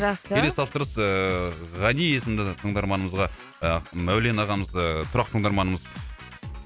жақсы келесі тапсырыс ііі ғани есімді тыңдарманымызға ы мәулен ағамыз ы тұрақты тыңдырманымыз